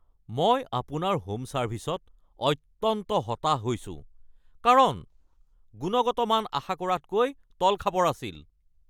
মই আপোনাৰ হোম ছাৰ্ভিছত অত্যন্ত হতাশ হৈছো কাৰণ গুণগত মান আশা কৰাতকৈ তলখাপৰ আছিল।